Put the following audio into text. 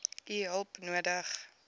u hulp nodig